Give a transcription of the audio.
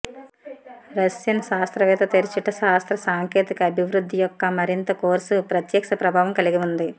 Russian శాస్త్రవేత్త తెరచుట శాస్త్ర సాంకేతిక అభివృద్ధి యొక్క మరింత కోర్సు ప్రత్యక్ష ప్రభావం కలిగి ఉంది